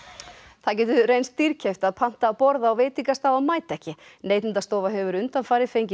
það getur reynst dýrkeypt að panta borð á veitingastað og mæta ekki Neytendastofa hefur undanfarið fengið